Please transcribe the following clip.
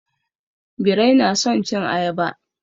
Birai na son cin ayaba.